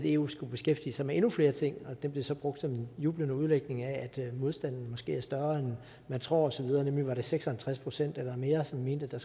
eu skulle beskæftige sig med endnu flere ting og det blev så brugt som en jublende udlægning af at modstanden måske er større end man tror osv nemlig at det var seks og halvtreds procent eller mere som mente at